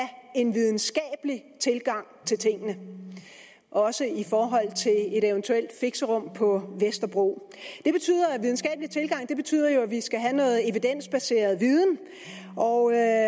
en videnskabelig tilgang til tingene også i forhold til et eventuelt fixerum på vesterbro en videnskabelig tilgang betyder jo at vi skal have noget evidensbaseret viden og jeg